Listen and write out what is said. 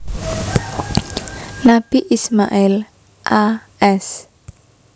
Nabi Ismail a s